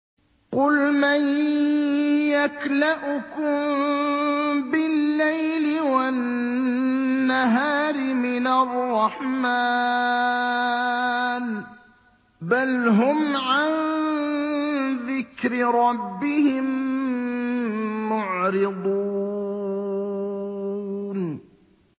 قُلْ مَن يَكْلَؤُكُم بِاللَّيْلِ وَالنَّهَارِ مِنَ الرَّحْمَٰنِ ۗ بَلْ هُمْ عَن ذِكْرِ رَبِّهِم مُّعْرِضُونَ